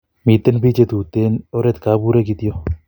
Miten pik che tuten oret kopure kitok